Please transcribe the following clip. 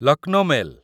Lucknow mail